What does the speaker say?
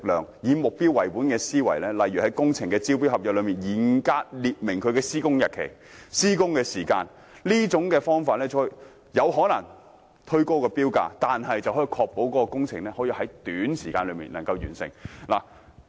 領展以目標為本的思維，在工程招標合約中嚴格列明施工日期和時間，這可能會推高標價，但卻可確保工程在短時間內完成。